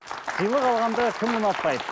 сыйлық алғанды кім ұнатпайды